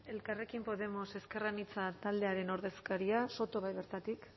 elkarrekin podemos ezker anitza taldearen ordezkaria soto bai bertatik